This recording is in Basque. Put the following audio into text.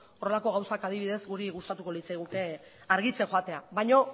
horrelako gauzak adibidez guri gustatuko litzaiguke argitzen joatea baina